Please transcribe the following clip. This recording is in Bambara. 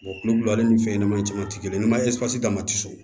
kulu ale ni fɛn ɲɛnamani caman ti kelen n'i ma d'a ma so